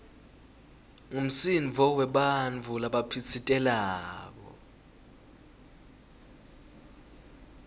ngumsindvo webantfu labaphitsitelako